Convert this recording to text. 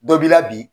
Dɔ b'i la bi